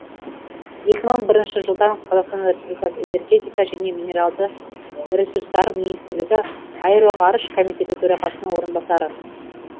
екі мың бірінші жылдан қазақстан республикасы энергетика және минералды ресурстар министрлігі аэроғарыш комитеті төрағасының орынбасары